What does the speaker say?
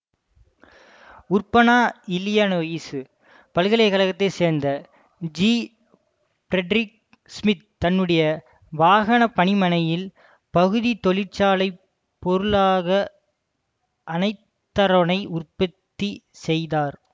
Urbana Illinois பல்கலை கழகத்தை சார்ந்த ஜிபிரெடரிக் சிமித் தன்னுடைய வாகன பணிமணையில் பகுதிச் தொழிற்சாலை பொருளாக அனைதரோனை உற்பத்தி செய்தார்